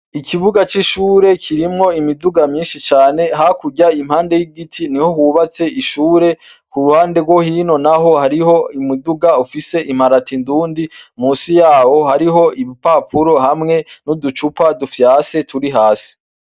Ikibuga c'ishure kirimwo imiduga myinshi cane, ha kurya impande y'ibiti niho hubatse ishure, ku ruhande rwo hino naho hariho umuduga ufise imparati ndundi, munsi yawo hariho ibipapuro hamwe n'uducupa dufyase turi hasi.